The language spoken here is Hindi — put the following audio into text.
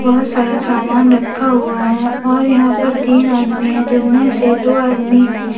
बहोत सारा सामान रखा हुआ है और यहां पर तीन आदमी है जिनमे से दो आदमी--